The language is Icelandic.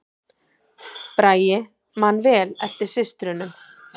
Bragi man vel eftir systrunum